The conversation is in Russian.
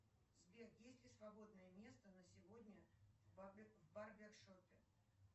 сбер есть ли свободное место на сегодня в барбершопе